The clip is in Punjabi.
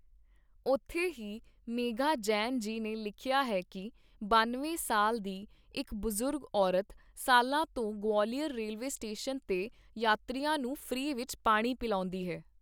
ਉੱਥੇ ਹੀ ਮੇਘਾ ਜੈਨ ਜੀ ਨੇ ਲਿਖਿਆ ਹੈ ਕਿ, ਬਾਨਵੇਂ ਸਾਲ ਦੀ ਇਕ ਬਜ਼ੁਰਗ ਔਰਤ ਸਾਲਾਂ ਤੋਂ ਗਵਾਲੀਅਰ ਰੇਲਵੇ ਸਟੇਸ਼ਨ ਤੇ ਯਾਤਰੀਆਂ ਨੂੰ ਫ੍ਰੀ ਵਿੱਚ ਪਾਣੀ ਪਿਲਾਉਂਦੀ ਹੈ।